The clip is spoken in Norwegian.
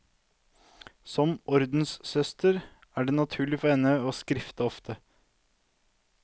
Som ordenssøster er det naturlig for henne å skrifte ofte.